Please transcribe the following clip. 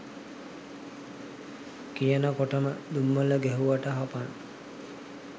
කියන කොටම දුම්මල ගැහුවට හපන්